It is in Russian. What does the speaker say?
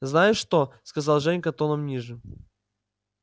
знаешь что сказал женька тоном ниже